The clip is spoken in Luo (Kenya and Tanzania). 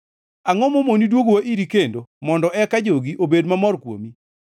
Angʼo mamoni duogowa iri kendo, mondo eka jogi obed mamor kuomi?